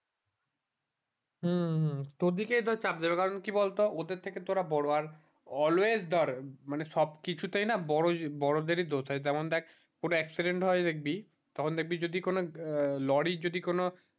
হম হম তাদেরকেই তো চাপ দেবে কারণ কি বল তো ওদের থেকে তোরা বড়ো আর always ধর মানে সব কিছু তেই না বড়দেরই দোষ হয় যেমন দেখ কোনো accident হয় দেখবি তখন দেখবি যদি কোনো lorry যদি কোনো